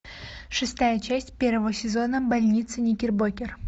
шестая часть первого сезона больница никербокер